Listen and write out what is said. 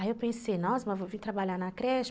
Aí eu pensei, nossa, mas vou vir trabalhar na creche?